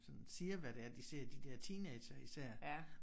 Sådan siger hvad det er de ser de der teenagere især